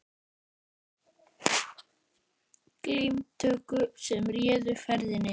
Og nú voru það hnefar og glímutök sem réðu ferðinni.